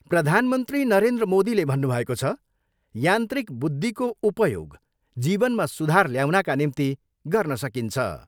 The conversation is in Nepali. प्रधानमन्त्री नरेन्द्र मोदीले भन्नुभएको छ, यान्त्रिक बुद्धिको उपयोग जीवनमा सुधार ल्याउनाका निम्ति गर्न सकिन्छ।